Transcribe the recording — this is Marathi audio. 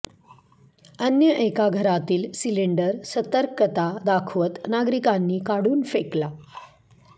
अन्य एका घरातील सिलिंडर सतर्कता दाखवत नागरिकांनी काढून फेकला